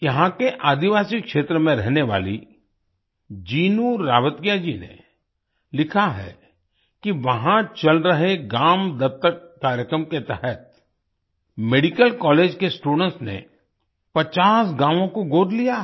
यहाँ के आदिवासी क्षेत्र में रहने वाली जिनु रावतीया जी ने लिखा है कि वहां चल रहे ग्राम दत्तक कार्यक्रम के तहत मेडिकल कॉलेज के स्टूडेंट्स ने 50 गांवों को गोद लिया है